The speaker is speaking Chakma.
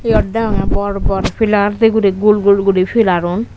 eyot degongey bor bor pelar day guri gul gul guri pelarun.